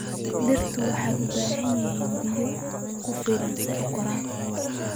Dhirta waxay u baahan yihiin biyo ku filan si ay u koraan.